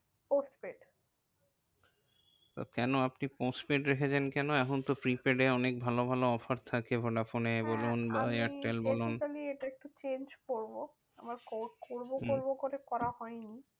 Postpaid কেন আপনি postpaid রেখেছেন কেন? এখন তো prepaid এ অনেক ভালো ভালো offer থাকে ভোডাফোনে বলুন হ্যাঁ আমি এয়ারটেল বলুন basically এটা একটু change করবো। আমার port করবো করবো করে করা হয়নি।